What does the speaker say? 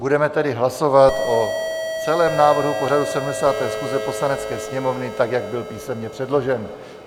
Budeme tedy hlasovat o celém návrhu pořadu 70. schůze Poslanecké sněmovny, tak jak byl písemně předložen.